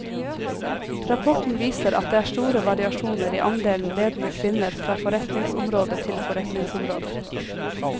Rapporten viser at det er store variasjoner i andelen ledende kvinner fra forretningsområde til forretningsområde.